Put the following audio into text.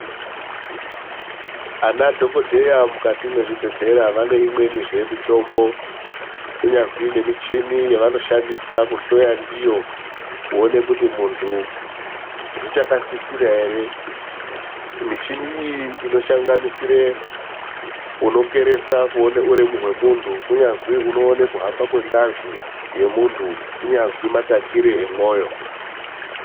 Ana dhokodheya mukati mwezvibhedhlera vanenzve imweni mitombo kunyazwi nemichini yavanoshandisa kuhloya ndiyo kuone kuti muntu zvichakasisira ere, michini iyi inoshanganisire unokeresa kuone uremu hwemuntu kunyazwi unoone kuhamba kwengazi yemuntu, kunyazwi matakire emwoyo.